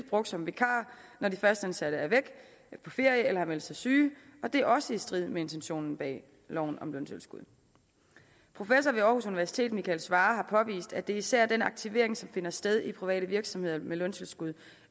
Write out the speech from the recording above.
brugt som vikarer når de fastansatte er væk på ferie eller har meldt sig syge og det er også i strid med intentionen bag loven om løntilskud professor ved aarhus universitet michael svarer har påvist at det især er den aktivering som finder sted i private virksomheder med løntilskud